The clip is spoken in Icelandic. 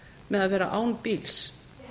með að vera án bíls